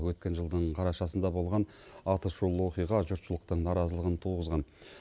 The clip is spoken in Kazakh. өткен жылдың қарашасында болған атышулы оқиға жұртшылықтың наразылығын туғызған